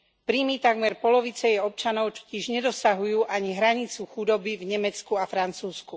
Príjmy takmer polovice jej občanov totiž nedosahujú ani hranicu chudoby v Nemecku a Francúzsku.